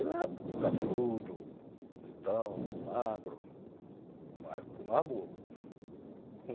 Ele era cabeludo, bonitão, magro, mas continuava burro.